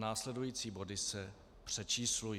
Následující body se přečíslují.